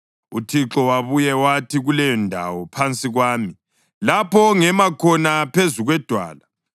UThixo wabuya wathi, “Kulendawo phansi kwami lapho ongema khona phezu kwedwala.